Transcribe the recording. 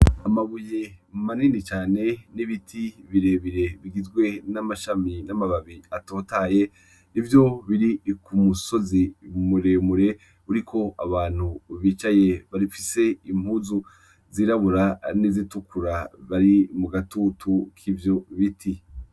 Amabuye manini cane n' ibiti bire bire bigizwe n' amashami n' amababi atatohaye ivyo biri kumusozi mure mure uriko abantu bicaye bafise impuzu zirabura n' izitukura bari mu gatutu kivyo biti.